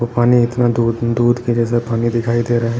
पानी इतना दूध दूध के जैसा पानी दिखाई दे रहा है।